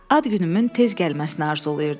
Ad günümün tez gəlməsini arzulayırdım.